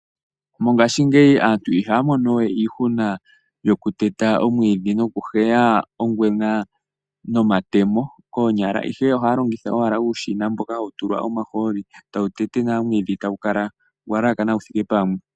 Mongaashingeyi aantu ihaya mono we iihuna yoku teta omwiidhi noku heya ongwena nomatemo koonyala, ihe ohaya longitha owala uushina mboka hawu tulwa omahooli tawu tete nawa omwiidhi tagu kala gwa laakana gu thike pamwe.